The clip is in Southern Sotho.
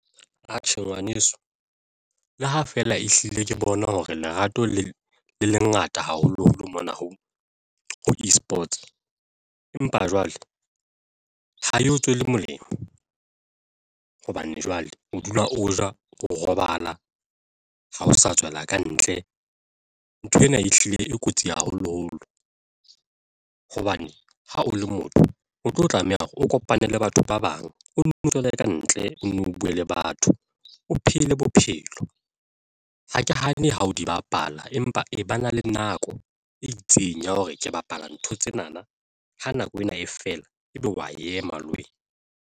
Atjhe, ngwaneso le ha feela ehlile ke bona hore lerato le ngata haholoholo mona ho eSports empa jwale ha eo tswele molemo hobane jwale o dula o ja, o robala ha o sa tswela kantle. Nthwena ehlile e kotsi haholoholo hobane ha o le motho o tlo tlameha hore o kopane le batho ba bang o no tswele ka ntle, o bue le batho, o phele bophelo ha ke hane ha o di bapala empa e ba na le nako e itseng ya hore ke bapala ntho tsena na ha nako ena e fela ebe wa ema le wena.